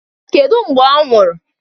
Kedu mgbe ọ nwụrụ?